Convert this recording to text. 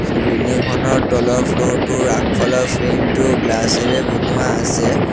চ building খনৰ তলত floor টোৰ আগফালৰ ফ্ৰেম টো গ্লাছ এৰে বনোৱা আছে।